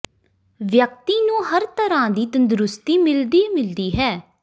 ਵਿਅਕਤੀ ਨੂੰ ਹਰ ਤਰਾਂ ਦੀ ਤੰਦਰੁਸਤੀ ਮਿਲਦੀ ਮਿਲਦੀ ਹੈ